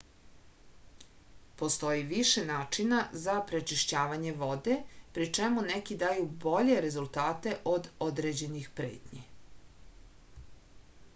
postoji više načina za prečišćavanje vode pri čemu neki daju bolje rezultate od određenih pretnji